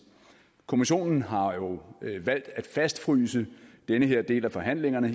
kommissionen har jo valgt at fastfryse den her del af forhandlingerne